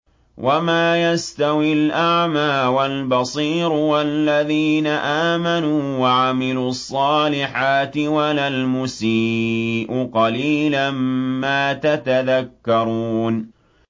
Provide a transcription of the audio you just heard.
وَمَا يَسْتَوِي الْأَعْمَىٰ وَالْبَصِيرُ وَالَّذِينَ آمَنُوا وَعَمِلُوا الصَّالِحَاتِ وَلَا الْمُسِيءُ ۚ قَلِيلًا مَّا تَتَذَكَّرُونَ